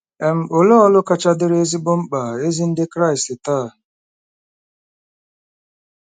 um Olee ọrụ kacha dịrị ezigbo mkpa ezi Ndị Kraịst taa?